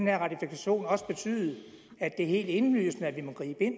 her ratifikation også betyde at det er helt indlysende at vi må gribe ind